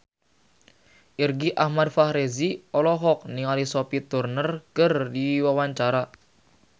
Irgi Ahmad Fahrezi olohok ningali Sophie Turner keur diwawancara